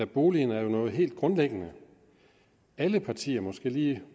boligen er jo noget helt grundlæggende alle partier måske lige